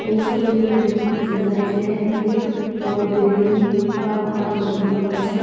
এই ছবিটিকে দেখে বোঝা যায় যে একদি বড়ো বিল্ডিং বা ঘর তৈরি হচ্ছে।